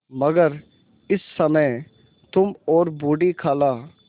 मगर इस समय तुम और बूढ़ी खाला